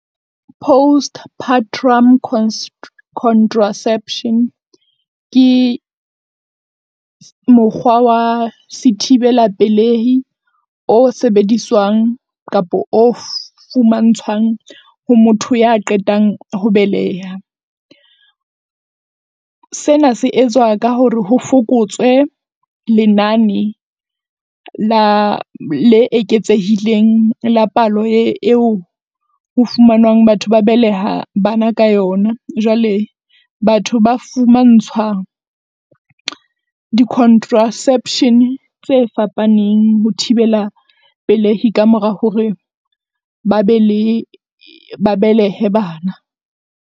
Postpartrum contraception ke mokgwa wa sethibela pelehi, o sebediswang kapa o fumantshwang ho motho ya qetang ho beleha. Sena se etswa ka hore ho fokotswe lenane la le eketsehileng la palo eo ho fumanwang batho ba beleha bana ka yona. Jwale batho ba fumantshwa di-contraception tse fapaneng ho thibela pelehi ka mora hore ba be le ba belehe bana.